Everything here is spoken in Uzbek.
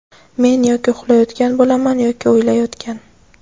Men yoki uxlayotgan bo‘laman, yoki o‘ylayotgan.